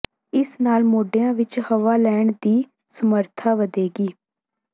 ਇਸ ਨਾਲ ਮੋਢਿਆਂ ਵਿਚ ਹਵਾ ਲੈਣ ਦੀ ਸਮਰੱਥਾ ਵਧੇਗੀ